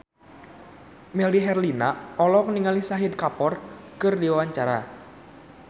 Melly Herlina olohok ningali Shahid Kapoor keur diwawancara